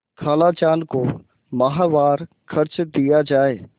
खालाजान को माहवार खर्च दिया जाय